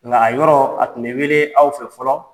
Nka a yɔrɔ a tun bɛ wele aw fɛ fɔlɔ